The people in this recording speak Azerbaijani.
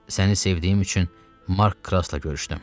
Səni sevdiyim üçün Mark Krasla görüşdüm.